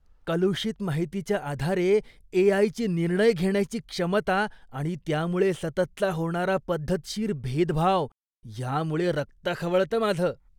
कलुषित माहितीच्या आधारे ए. आय.ची निर्णय घेण्याची क्षमता आणि त्यामुळे सततचा होणारा पद्धतशीर भेदभाव यामुळे रक्त खवळतं माझं.